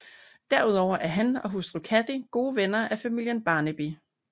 Derudover er han og hustruen Cathy gode venner af familien Barnaby